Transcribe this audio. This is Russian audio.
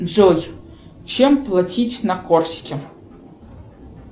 джой чем платить на корсике